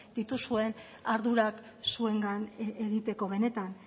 dituzuen ardurak zuengan egiteko benetan